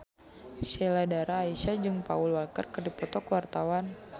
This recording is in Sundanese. Sheila Dara Aisha jeung Paul Walker keur dipoto ku wartawan